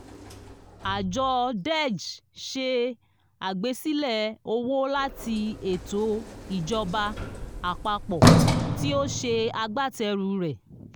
ààjọ deg ṣe àgbésílẹ̀ owó láti ètò ìjọba àpapọ̀ tí ó ṣe agbátẹrù rẹ̀